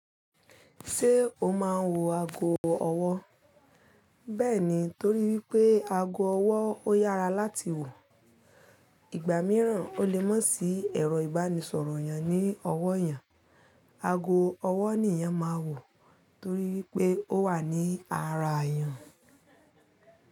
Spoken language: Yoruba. Ṣé o máa ń wọ ago ọwọ́? Bẹ́ẹ̀ni, torí pé ago ọwọ́ ó yára láti wọ̀. Igba mìíràn o le mó sí ẹ̀rọ ìbánisọ̀rọ̀ yẹn ní ọwọ́ yẹn. Ago ọwọ́ ni eeyan máa wọ̀ torí pé ó wà ní ara eeyan.